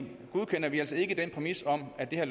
godkender vi altså ikke den præmis om at det her